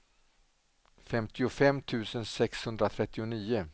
femtiofem tusen sexhundratrettionio